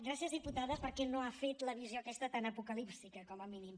gràcies diputada perquè no ha fet la visió aquesta tan apocalíptica com a mínim